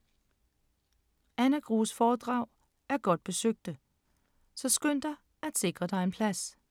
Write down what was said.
Anna Grues foredrag er godt besøgte, så skynd dig at sikre dig en plads.